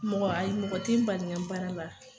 Mɔgɔ ayi mɔgɔ ti n bali n ka baara la.